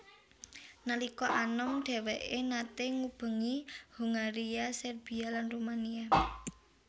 Nalika anom dhèwèké naté ngubengi Hongaria Serbia lan Rumania